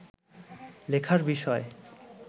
লেখার বিষয়